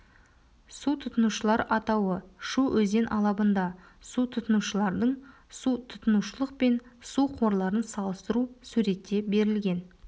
су тұтынушылар атауы шу өзен алабында су тұтынушылардың су тұтынушылық пен су қорларын салыстыру суретте берілген